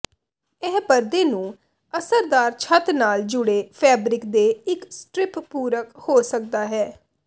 ਇਹ ਪਰਦੇ ਨੂੰ ਅਸਰਦਾਰ ਛੱਤ ਨਾਲ ਜੁੜੇ ਫੈਬਰਿਕ ਦੇ ਇੱਕ ਸਟਰਿੱਪ ਪੂਰਕ ਹੋ ਸਕਦਾ ਹੈ